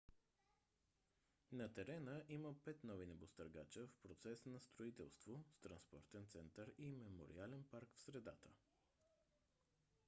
на терена има пет нови небостъргача в процес на строителство с транспортен център и мемориален парк в средата